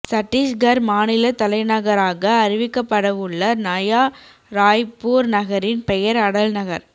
சட்டீஸ்கர் மாநிலத் தலைநகராக அறிவிக்கப்படவுள்ள நயா ராய்ப்பூர் நகரின் பெயர் அடல்நகர்